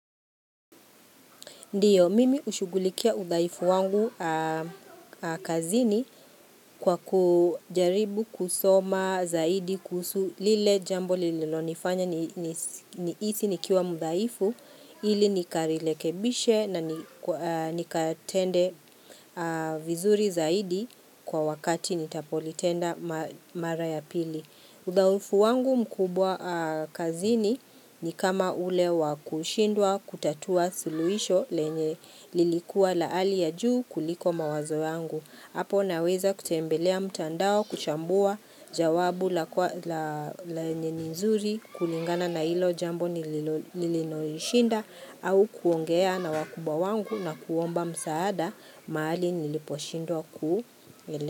Ndio, mimi hushughulikia udhaifu wangu kazini kwa kujaribu kusoma zaidi kuhusu lile jambo lililonifanya nihisi nikiwa mdhaifu ili nikalirekebishe na nikatende vizuri zaidi kwa wakati nitapolitenda mara ya pili. Udhaifu wangu mkubwa kazini ni kama ule wa kushindwa kutatua suluhisho lenye lilikuwa la ali ya juu kuliko mawazo wangu. Hapo naweza kutembelea mtandao kuchambua jawabu lenye ni nzuri kulingana na hilo jambo lililonishinda au kuongea na wakubwa wangu na kuomba msaada mahali niliposhindwa kuelewa.